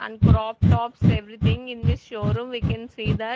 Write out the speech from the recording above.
And crop tops everything in this showroom we can see that.